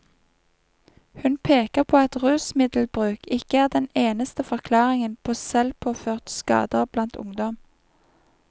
Hun peker på at rusmiddelbruk ikke er den eneste forklaringen på selvpåførte skader blant ungdom.